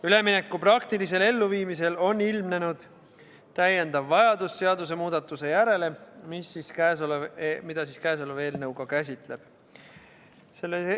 Ülemineku praktilisel elluviimisel on ilmnenud vajadus seadusemuudatuse järele ja seda kõnealune eelnõu käsitlebki.